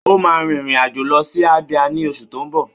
Ó máa rin ìrìn àjò lọ sí Abia ní oṣù tó ń bọ̀.